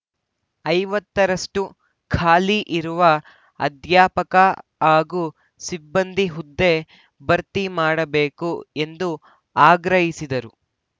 ಐವತ್ತ ರಷ್ಟುಖಾಲಿ ಇರುವ ಅಧ್ಯಾಪಕ ಹಾಗೂ ಸಿಬ್ಬಂದಿ ಹುದ್ದೆ ಭರ್ತಿಮಾಡಬೇಕು ಎಂದು ಆಗ್ರಹಿಸಿದರು